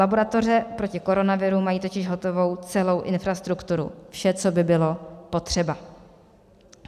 Laboratoře proti koronaviru mají totiž hotovou celou infrastrukturu, vše, co by bylo potřeba.